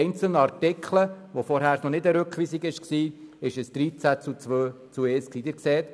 Vorher, als es noch keine Rückweisung war, betrug das Resultat 13 Nein, 2 Ja und 1 Enthaltung.